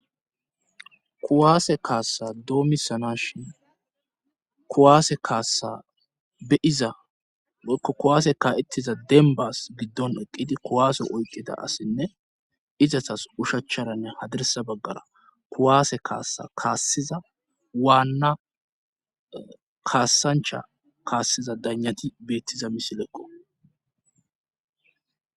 kuwaase kaassa doomisana shin ekaassabeizaokuwaase ka7ettiza denbas giddon eqqidi kuwaase oyqida assinne izatas ushachcharanne haderesa baggara kuwaase kaassa kaassiza waanna kaassancha kaassiza danyati beettiza misileqqo